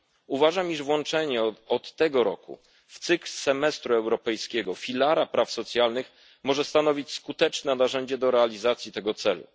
Uważam, iż włączenie od tego roku w cykl europejskiego semestru filaru praw socjalnych może stanowić skuteczne narzędzie do realizacji tego celu.